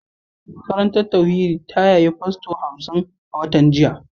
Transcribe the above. Makarantar tauhidi ta yaye fasto hamsin a watan jiya